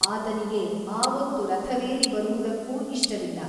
ಆತನಿಗೆ ಆವೊತ್ತು ರಥವೇರಿ ಬರುವುದಕ್ಕೂ ಇಷ್ಟವಿಲ್ಲ.